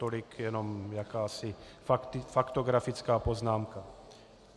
Tolik jenom jakási faktografická poznámka.